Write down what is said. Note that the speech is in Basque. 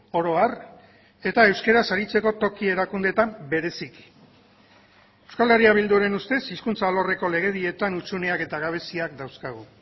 oro har eta euskaraz aritzeko toki erakundeetan bereziki euskal herria bilduren ustez hizkuntza alorreko legedietan hutsuneak eta gabeziak dauzkagu